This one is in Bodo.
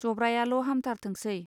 जब्रायाल' हामथारथोंसै!.